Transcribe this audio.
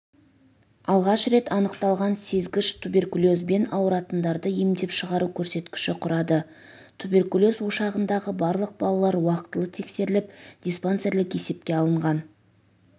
алғаш рет анықталған сезгіш туберкулезбен ауыратындарды емдеп шығару көрсеткіші құрады туберкулез ошағындағы барлық балалар уақытылы тексеріліп диспансерлік есепке алынған